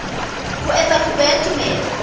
ho etsa kopo ya tumello